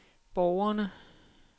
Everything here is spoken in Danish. borgerne